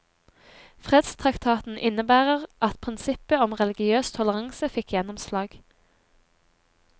Fredstraktaten innebærer at prinsippet om religiøs toleranse fikk gjennomslag.